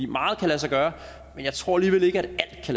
meget kan lade sig gøre men jeg tror alligevel ikke